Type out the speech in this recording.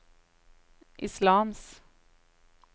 islams